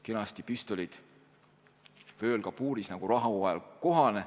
Kenasti püstolid oli vööl kabuuris, nagu rahuajal kohane.